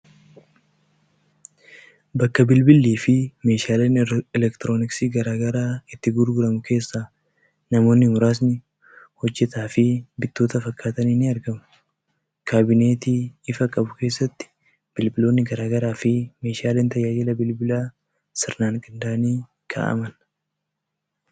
Bakka bilbillii fi meeshaaleen elektrooniksii garaa garaa itti gurguramu keessa namoonni muraasni hojjetaa fi bittoota fakkaatan ni argamu. Kaabinetii ifa qabu keessatti bilbiloonni garaagaraa fi meeshaaleen tajaajila bilbilaa sirnaan qindaa’anii kaa’aman.